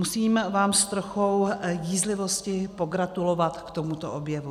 Musím vám s trochou jízlivosti pogratulovat k tomuto objevu.